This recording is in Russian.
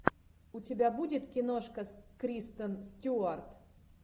у тебя будет киношка с кристен стюарт